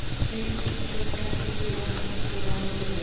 Bíllinn lenti síðan ofan í skurði